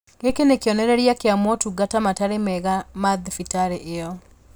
Gĩkĩ nĩ kĩonereria kĩa motungata matarĩ mega ma thibitarĩ ĩyo